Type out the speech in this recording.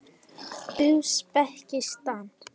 Úsbekistan